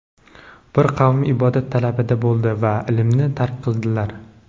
Bir qavm ibodat talabida bo‘ldi va ilmni tark qildilar.